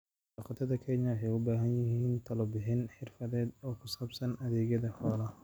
Xoolo-dhaqatada Kenya waxay u baahan yihiin talo-bixin xirfadeed oo ku saabsan adeegyada xoolaha.